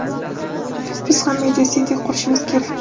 biz ham "Media City" qurishimiz kerak.